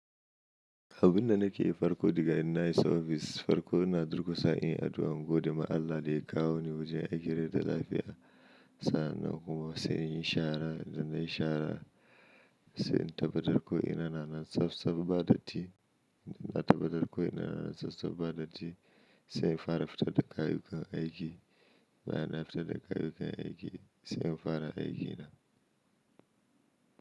Abun da nake yi farko daga ina na yi sabvis, farko ina durkusa in yi addu'an gode ma Allah da ya kawo ni wajen aiki da lafiya, sannan kuma sai in yi shara da na yi shara, sai in tabbatar ko ina na nan tsaf tsaf badatti, na tabbatar ko ina na nan tsaf tsaf badatti, sai in fara fita da kayayyakin aiki, bayan na fita da kayayyakin aiki, sai in fara aikina.